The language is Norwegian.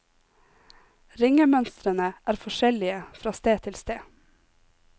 Ringemønstrene er forskjellige fra sted til sted.